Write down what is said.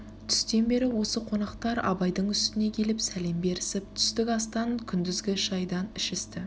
түстен бері осы қонақтар абайдың үстіне келіп сәлем берісіп түстік астан күндізгі шайдан ішісті